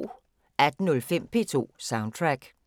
18:05: P2 Soundtrack